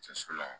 Cɛso la